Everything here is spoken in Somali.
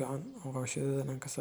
ka dhigaya beeraleyda dad mudan.